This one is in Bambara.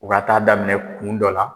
U ka taa a daminɛ kun dɔ la